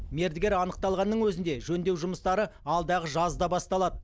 мердігер анықталғанның өзінде жөндеу жұмыстары алдағы жазда басталады